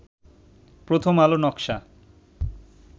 প্রথম আলো নকশা